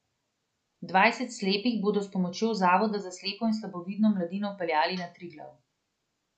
Dvajset slepih bodo s pomočjo Zavoda za slepo in slabovidno mladino peljali na Triglav.